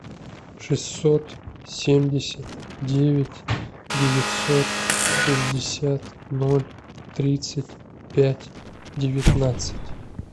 шестьсот семьдесят девять девятьсот шестьдесят ноль тридцать пять девятнадцать